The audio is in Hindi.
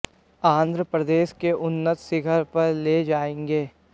आंध्र प्रदेश के उन्नत शिखर पर ले जायेंगे